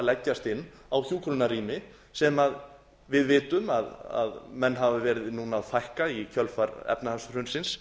leggjast á hjúkrunarrými sem við vitum að menn hafa verið núna að fækka í kjölfar efnahagshrunsins